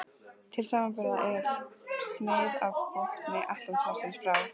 Til samanburðar er snið af botni Atlantshafsins frá